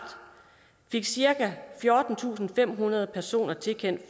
fik cirka fjortentusinde og femhundrede personer tilkendt